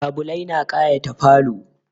Labulai na kayata falo.